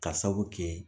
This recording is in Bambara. Ka sabu kɛ